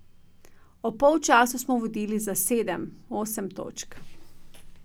Ob polčasu smo vodili za sedem, osem točk.